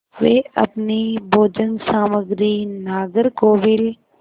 वे अपनी भोजन सामग्री नागरकोविल